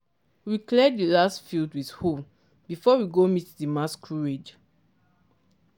we clear di last field with hoe before we go meet di masquerade.